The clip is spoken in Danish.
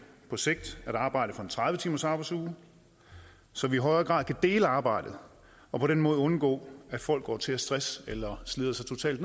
på sigt at arbejde for en tredive timers arbejdsuge så vi i højere grad kan dele arbejdet og på den måde undgå at folk går til af stress eller slider sig totalt